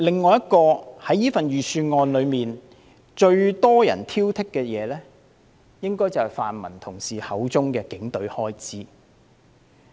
最多人挑剔預算案的另一點，應該是泛民同事口中的警隊開支問題。